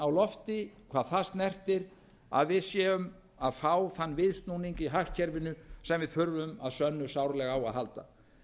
á lofti hvað það snertir að við séum að fá þann viðsnúning í hagkerfinu sem við þurfum að sönnu sárlega á að halda